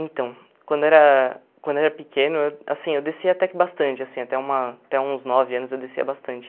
Então, quando era quando era pequeno, eu assim, eu descia até que bastante, assim, até uma até uns nove anos eu descia bastante.